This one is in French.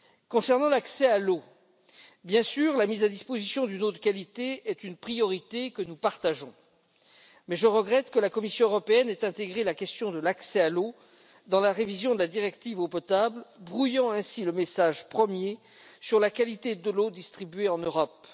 Concernant l'accès à l'eau, la mise à disposition d'une eau de qualité est, bien sûr, une priorité que nous partageons, mais je regrette que la Commission européenne ait intégré la question de l'accès à l'eau dans la révision de la directive eau potable, brouillant ainsi le message premier sur la qualité de l'eau distribuée en Europe.